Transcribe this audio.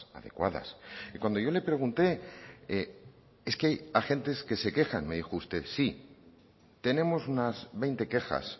adecuadas y cuando yo le pregunté es que hay agentes que se quejan me dijo usted sí tenemos unas veinte quejas